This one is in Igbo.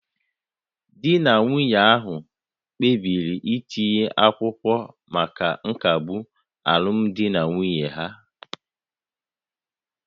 Di na nwunye ahụ kpebiri itinye akwụkwọ maka nkagbu alụmdi na nwunye ha